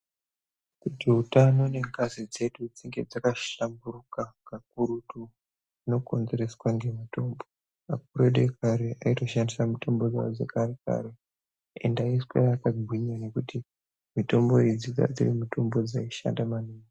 Kuti utano nengazi dzedu dzinge dzakahlamburuka kakurutu zvinokonzereswa ngemitombo. Akuru edu ekare aitoshandisa mitombo dzekare-kare ende aiswera akagwinya ngekuti mitombo idzi dzanga dzirimitombo dzaishanda maningi.